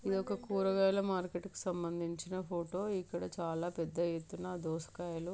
ఇది ఒక కూయరాగాయాలకి సంబందించిన ఫోటో ఇక్కడ చాలా పెద్ద ఎత్తున్న దోసకాయలు--